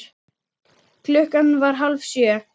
Klukkan var hálf sjö.